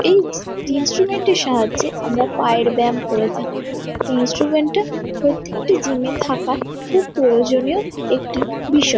এই জি ইন্সটুমেন্ট -এর সাহায্যে আমরা পায়ের ব্যায়াম করে থাকি। এই ইন্সটুমেন্ট -টা প্রত্যেকটি জিম -এ থাকা খুব প্রয়োজনীয় একটি বিষয়।